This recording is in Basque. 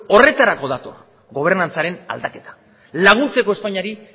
horretarako dator gobernantzaren aldaketa laguntzeko espainiari